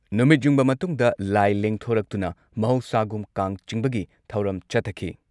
ꯅꯨꯃꯤꯠ ꯌꯨꯡꯕ ꯃꯇꯨꯡꯗ ꯂꯥꯏ ꯂꯦꯡꯊꯣꯔꯛꯇꯨꯅ ꯃꯍꯧꯁꯥꯒꯨꯝ ꯀꯥꯡ ꯆꯤꯡꯕꯒꯤ ꯊꯧꯔꯝ ꯆꯠꯊꯈꯤ ꯫